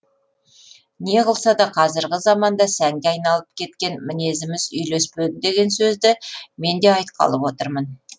не қылса да қазіргі заманда сәнге айналып кеткен мінезіміз үйлеспеді деген сөзді мен де айтқалы отырмын